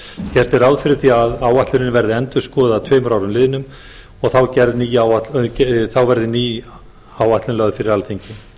er ráð fyrir því að áætlunin verði endurskoðuð að tveimur árum liðnum og þá verði ný áætlun lögð fyrir alþingi